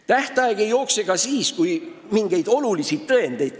Tähtaeg ei jookse ka siis, kui ei saada kätte mingeid olulisi tõendeid.